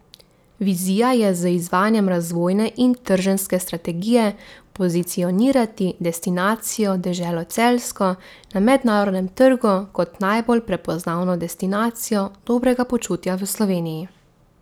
Vizija je z izvajanjem razvojne in trženjske strategije pozicionirati destinacijo Deželo Celjsko na mednarodnem trgu kot najbolj prepoznavno destinacijo dobrega počutja v Sloveniji.